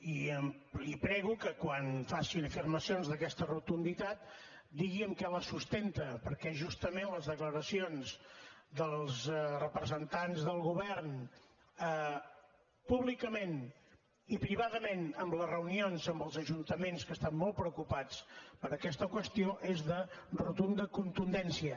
i li prego que quan faci afirmacions d’aquesta rotunditat digui en què les sustenta perquè justament les declaracions dels representants del govern públicament i privadament en les reunions amb els ajuntaments que estan molt preocupats per aquesta qüestió és de rotunda contundència